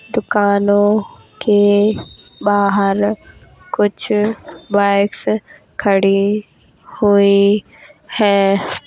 दुकानों के बाहर कुछ बाइक्स खड़ी हुई हैं।